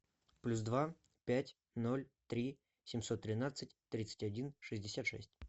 плюс два пять ноль три семьсот тринадцать тридцать один шестьдесят шесть